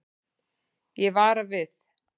Ég vara við.